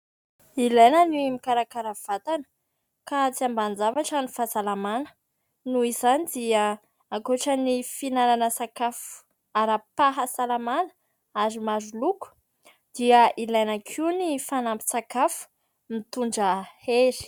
Ilaina ny mikarakara vatana ka tsy ambanin-javatra ny fahasalamana noho izany dia ankoatra ny fihinanana sakafo ara-pahasalamana ary maro loko dia ilaina koa ny fanampin-tsakafo mitondra hery.